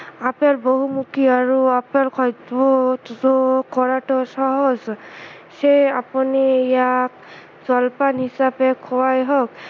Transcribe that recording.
apple বহুমূখী আৰু apple খাদ্য়ত যোগ কৰাতো সহজ সেয়ে আপুনি ইয়াক জলপান হিচাপে খোৱাই হওক